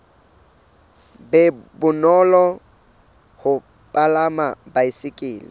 be bonolo ho palama baesekele